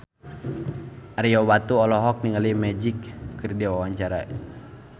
Ario Batu olohok ningali Magic keur diwawancara